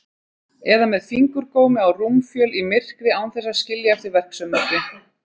Eða með fingurgómi á rúmfjöl í myrkri án þess að skilja eftir verksummerki.